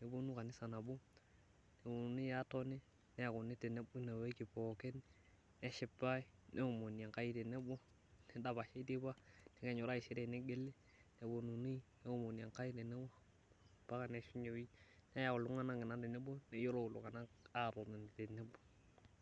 neponu kanisa nabo neponunui aatoni neekuni nabo tineweji tina wiki pookin ,neshipae neomoni Enkai tenebo neidapashai teipa ore taisere nitokini neomoni Enkai tenebo mpaka neishunye ewiki neyau ina iltunganak tenebo neyiolou iltunganak atotoni tenebo.